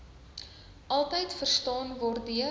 altyd verstaan waardeur